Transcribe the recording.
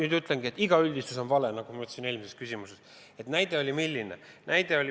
Ma ütlengi, et iga üldistus on vale, nagu ma ütlesin ka ühele eelmisele küsimusele vastates.